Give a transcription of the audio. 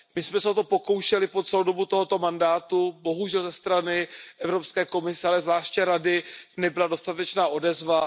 My jsme se o to pokoušeli po celou dobu tohoto mandátu, bohužel ze strany Evropské komise, ale zvláště Rady nebyla dostatečná odezva.